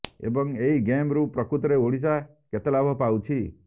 ଏବଂ ଏହି ଗେମ୍ ରୁ ପ୍ରକୃତରେ ଓଡିଶା କେତେ ଲାଭ ପାଉଛି